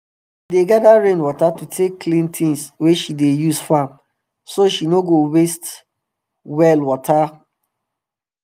she dey gada rain water to take clean things wey she dey use farm so she no go waste well water well water